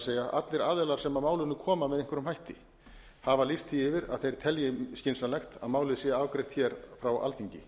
allir aðilar sem að málinu koma með einhverjum hætti hafa lýst því yfir að þeir telji skynsamlegt að málið sé afgreitt hér frá alþingi